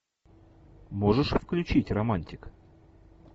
можешь включить романтик